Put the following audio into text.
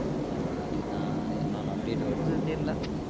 பாத்திய என்ன என்னென்ன update வருதுன்னு தெயரில்லா